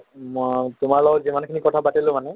ম তোমাৰ লগত যিমান খিনি কথা পাতিলো মানে